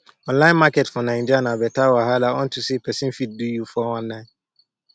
online market for naija na better wahala unto say pesin fit do you 419